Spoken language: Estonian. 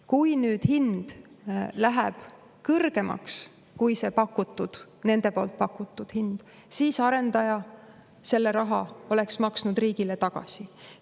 Kui nüüd hind läheb kõrgemaks kui see nende poolt pakutud hind, siis arendaja selle raha maksaks riigile tagasi.